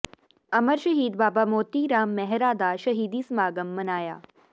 ਅਮਰ ਸ਼ਹੀਦ ਬਾਬਾ ਮੋਤੀ ਰਾਮ ਮਹਿਰਾ ਦਾ ਸ਼ਹੀਦੀ ਸਮਾਗਮ ਮਨਾਇਆ